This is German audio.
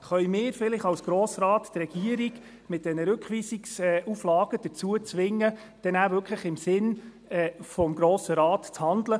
Können wir als Grosser Rat vielleicht die Regierung mit diesen Rückweisungsauflagen dazu zwingen, dann wirklich im Sinne des Grossen Rates zu handeln?